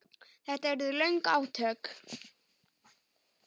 Þetta urðu löng átök.